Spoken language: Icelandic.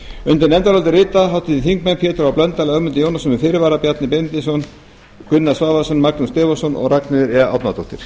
undir nefndarálitið rita háttvirtir þingmenn pétur h blöndal ögmundur jónasson með fyrirvara bjarni benediktsson gunnar svavarsson magnús stefánsson og ragnheiður e árnadóttir